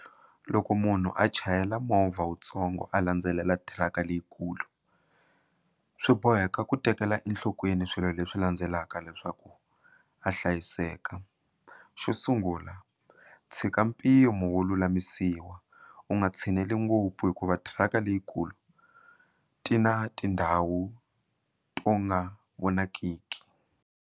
Loko munhu a chayela movha wutsongo a landzelela thiraka leyikulu swi boheka ku tekela enhlokweni swilo leswi landzelaka leswaku a hlayiseka xo sungula tshika mpimo wo lulamisiwa u nga tshineli ngopfu hikuva thiraka leyikulu ti na tindhawu to nga vonakiki.